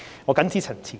我謹此陳辭。